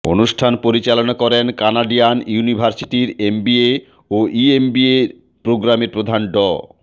অনুষ্ঠান পরিচালনা করেন কানাডিয়ান ইউনিভার্সিটির এমবিএ ও ইএমবিএ প্রোগ্রামের প্রধান ড